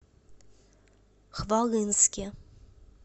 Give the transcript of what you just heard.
хвалынске